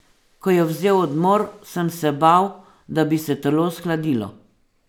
Ko je vzel odmor, sem se bal, da bi se telo shladilo.